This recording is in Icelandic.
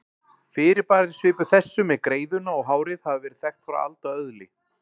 Fyrirbæri svipuð þessu með greiðuna og hárið hafa verið þekkt frá alda öðli.